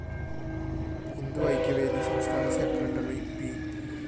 ഹിന്ദുഐക്യവേദി സംസ്ഥാന secretary P